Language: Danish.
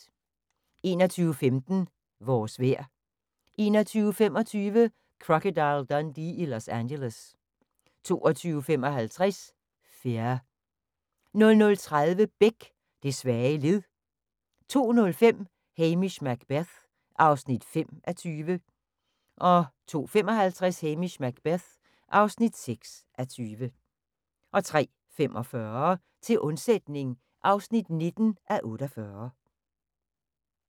21:15: Vores vejr 21:25: Crocodile Dundee i Los Angeles 22:55: Fear 00:30: Beck: Det svage led 02:05: Hamish Macbeth (5:20) 02:55: Hamish Macbeth (6:20) 03:45: Til undsætning (19:48)